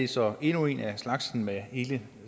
så endnu en af slagsen med hele